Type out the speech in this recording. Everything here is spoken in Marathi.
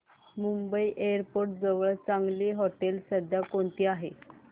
मुंबई एअरपोर्ट जवळ चांगली हॉटेलं सध्या कोणती आहेत